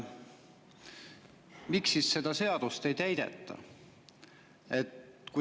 Miks seda seadust ei täideta?